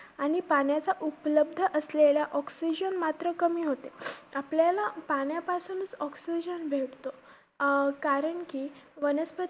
आणि पाण्याचा उपलब्ध oxygen असलेला मात्र कमी होते. आपल्याला पाण्यापासूनचं भेटतो अं कारण कि वनस्पती